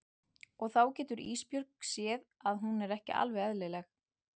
Og þá getur Ísbjörg séð að hún er ekki alveg eðlileg.